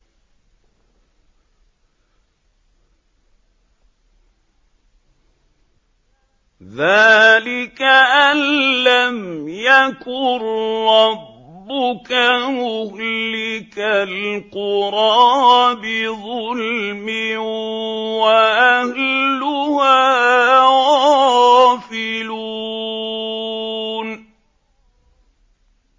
ذَٰلِكَ أَن لَّمْ يَكُن رَّبُّكَ مُهْلِكَ الْقُرَىٰ بِظُلْمٍ وَأَهْلُهَا غَافِلُونَ